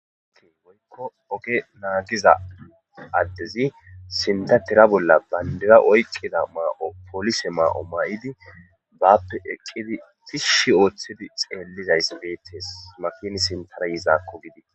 ke woykko oge naagiza addezi sinta tira bolla bayndera oyqqida maa7o poolise maa7o may7idi bappe eqqidi tishshi ooththidi xeellizays beettees makin sintara yizaakko gidi